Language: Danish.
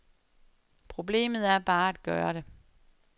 Problemet er bare at gøre det.